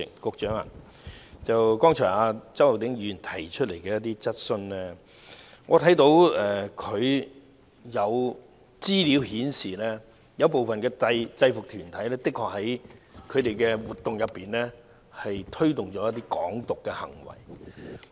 局長，就周浩鼎議員剛才提出的質詢，我看到有資料顯示，部分制服團體的確在活動中推動"港獨"的行為。